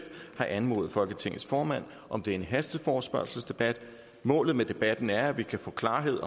har anmodet folketingets formand om denne hasteforespørgselsdebat målet med debatten er at vi kan få klarhed